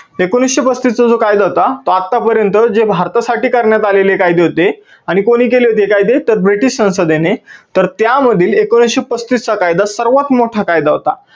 एकोणविसशे पस्तीस चा जो कायदा होता तो आत्तापर्यंत जे भारतासाठी करण्यात आलेले कायदे होते आणि कोणी केले होते कायदे तर ब्रिटीश संसदेने तर त्या मध्ये एकोणविसशे पस्तीस चा कायदा सर्वात मोठा कायदा होता.